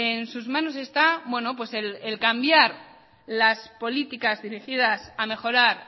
en sus manos está el cambiar las políticas dirigidas a mejorar